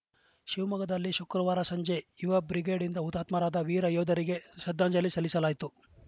ಶಿವಮೊಗ್ಗದಲ್ಲಿ ಶುಕ್ರವಾರ ಸಂಜೆ ಯುವ ಬ್ರಿಗೇಡ್‌ಯಿಂದ ಹುತಾತ್ಮರಾದ ವೀರ ಯೋಧರಿಗೆ ಶ್ರದ್ದಾಂಜಲಿ ಸಲ್ಲಿಸಲಾಯಿತು